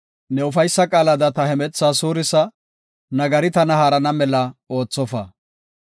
Ne ufaysa qaalada ta hemethaa suurisa; nagari tana haarana mela oothofa.